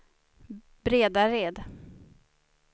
Bredared